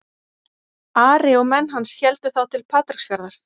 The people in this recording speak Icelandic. Ari og menn hans héldu þá til Patreksfjarðar.